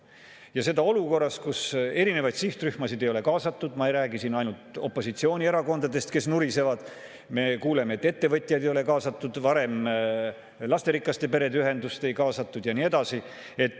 Ja seda olukorras, kus erinevaid sihtrühmasid ei ole kaasatud – ma ei räägi siin ainult opositsioonierakondadest, kes nurisevad, me kuuleme, et ka ettevõtjaid ei ole kaasatud, lasterikaste perede ühendust ei kaasatud jne.